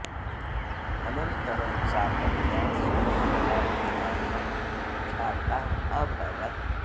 अनन्तरं सा कन्या सुमङ्गला इति नाम्ना ख्याता अभवत्